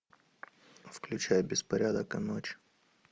включай беспорядок и ночь